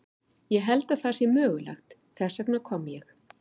Ég held að það sé mögulegt, þess vegna kom ég.